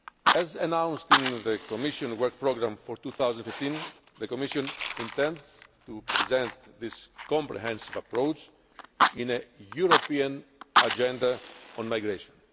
As announced in the Commission work programme for 2015, the Commission intends to present this comprehensive approach in a European agenda on migration.